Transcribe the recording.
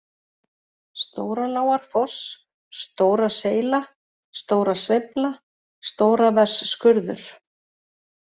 Stóralágarfoss, Stóraseyla, Stórasveifla, Stóraversskurður